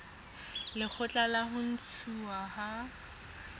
lekgotla la ho ntshuwa ha